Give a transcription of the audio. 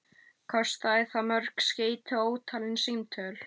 Kostaði það mörg skeyti og ótalin símtöl.